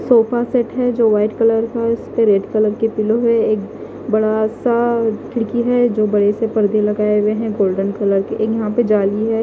Sofa set है जो white colour उसपे रेड कलर के पिलो है एक बड़ा सा खिड़की है जो बड़े से परदे लगाए हुए हैं गोल्डन कलर के एक यहां पे जली है।